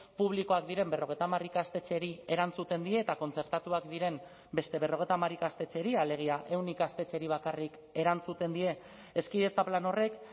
publikoak diren berrogeita hamar ikastetxeri erantzuten die eta kontzertatuak diren beste berrogeita hamar ikastetxeri alegia ehun ikastetxeri bakarrik erantzuten die hezkidetza plan horrek